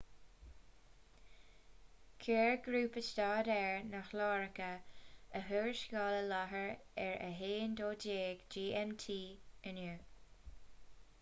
chuir grúpa staidéir na hiaráice a thuarascáil i láthair ar a 12.00 gmt inniu